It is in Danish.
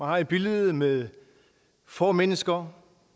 har et billede med få mennesker